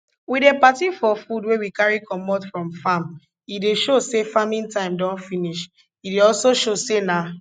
we dey party for food wey we carry comot from farm e dey show say farming time don finish e dey also show say na